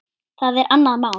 Það er annað mál.